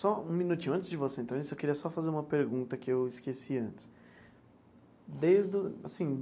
Só um minutinho, antes de você entrar nisso, eu queria só fazer uma pergunta que eu esqueci antes desde o assim.